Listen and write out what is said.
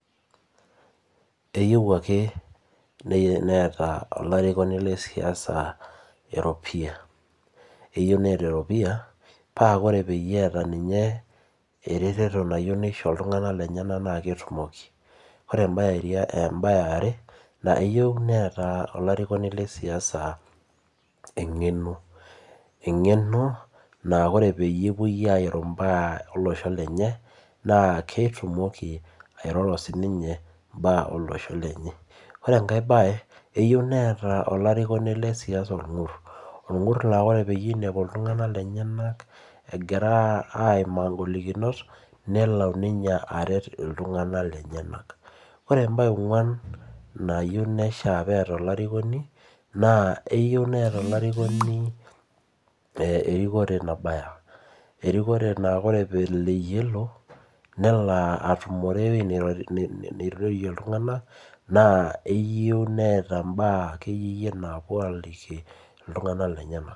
Eyieu akenneeta olarikoni lesiasa eropiya eyieu neeta eropiya pa ore peyie eeta eretoto oltunganak lenyenak na ketumoki na embae eare na eyieu neeta olarikoni lesiasa engeno ,engeno na ore ore peetum olosho lenye na ketumoki airoro sininye mbaa olosho lenye ore enkae bae eyieu neeta olarikoni le siasa orngur orngur na ore pinepu ltunganak lenyenak egira aimaa ngolikinot nelo aret ltunganak lenyenak ore embae eonguan nayieu neeta olarikoni lesiasa na eyieu neeta olarikoni erikore nabaya, erikore na ore tenelo nelo atumore nirorie ltunganak na eyieu neeta mbaa akeyie napuo aliki ltunganak lenyenak.